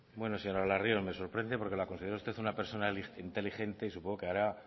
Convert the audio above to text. señora larrion me sorprende porque la considero a usted una persona inteligente y supongo que habrá